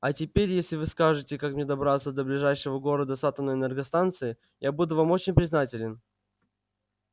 а теперь если вы скажете как мне добраться до ближайшего города с атомной энергостанцией я буду вам очень признателен